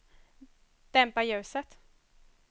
dämpa ljuset